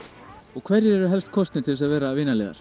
og hverjir eru helst kosnir til að vera vinaliðar